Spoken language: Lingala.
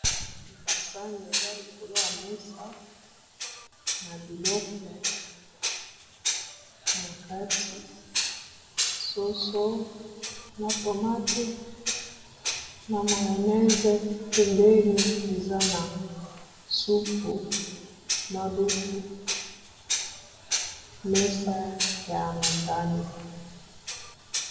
Basani eza likolo ya mesa na biloko na kati ,soso na tomate na mayonnaise pembeni eza na supu, na lutu ,mesa ya motani.